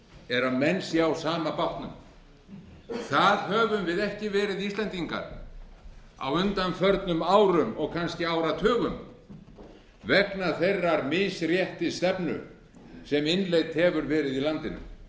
er að menn séu á sama bátnum það höfum við ekki verið íslendingar á undanförnum árum og kannski áratugum vegna þeirrar misréttisstefnu sem innleidd hefur verið í landinu